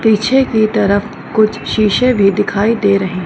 पीछे की तरफ कुछ शीशे भी दिखाई दे रहे।